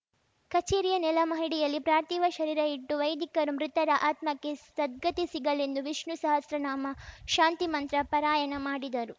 ಕಚೇರಿಯ ನೆಲಮಹಡಿಯಲ್ಲಿ ಪ್ರಾರ್ಥಿವ ಶರೀರ ಇಟ್ಟು ವೈದಿಕರು ಮೃತರ ಆತ್ಮಕ್ಕೆ ಸದ್ಗತಿ ಸಿಗಲೆಂದು ವಿಷ್ಣು ಸಹಸ್ರನಾಮ ಶಾಂತಿಮಂತ್ರ ಪರಾಯಣ ಮಾಡಿದರು